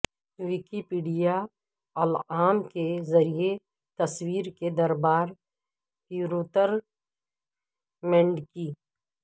Wikipedia العام کے ذریعہ تصویر کے دربار پیروتر مینڈکی